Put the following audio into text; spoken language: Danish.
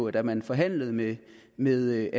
at da man forhandlede med med